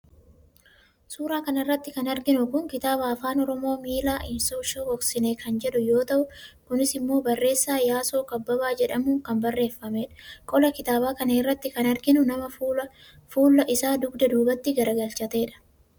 suuraa kana irratti kan arginu kun kitaaba afaan oromoo miila hin shokoksine kan jedhu yoo ta'u kunis immoo barreessaa yaasoo kabbabaa jedhamuun kan barreeffamedha. qola kitaaba kanaa irratti kan arginu nama fuulla isaa dugda duubatti garagalchatedha.